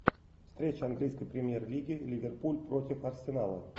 встреча английской премьер лиги ливерпуль против арсенала